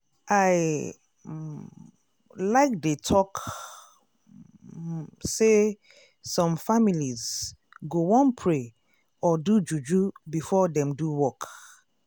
i like dey talk say some families go wan pray or do juju before dem do work.